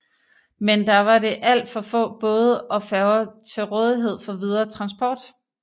Men der var det alt for få både og færger til rådighed for videre transport